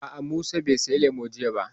A'a, Musa bai saya lemu jiya ba